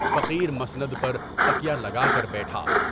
فقیر مسند پر تکیہ لگا کر بیچا۔